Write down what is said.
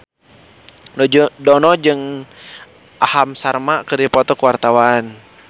Dono jeung Aham Sharma keur dipoto ku wartawan